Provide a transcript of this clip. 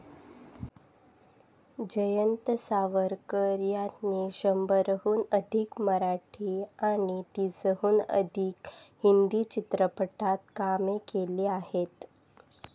जयंत सावरकर यांनी शंभरहून अधिक मराठी आणि तीसहून अधिक हिंदी चित्रपटात कामे केली आहेत.